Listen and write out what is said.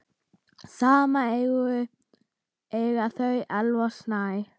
Saman eiga þau Elvar Snæ.